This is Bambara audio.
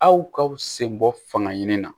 Aw ka sen bɔ fanga ɲini na